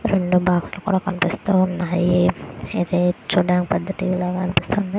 రెండు బాక్సులు కూడా కనిపిస్తున్నాయ్. ఇవి చూడడానికి పెద్ద టీవీ లాగా కనిపిస్తుంది.